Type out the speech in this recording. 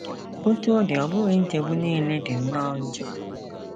Otú ọ dị, ọ bụghị nchegbu nile dị nnọọ njọ.